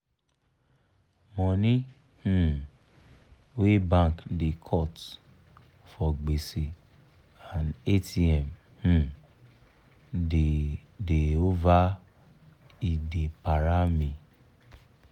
money um wey bank da cut for gbese and atm um da da over e da para me